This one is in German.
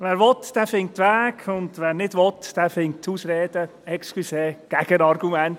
Wer will, der findet Wege, und wer nicht will, der findet Ausreden, entschuldigen Sie, Gegenargumente.